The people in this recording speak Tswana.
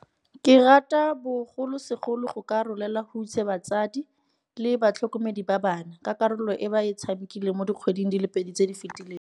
Ke rata bogolosegolo go ka rolela hutshe batsadi le batlhokomedi ba bana, ka karolo e ba e tshamekileng mo dikgweding di le pedi tse di fetileng.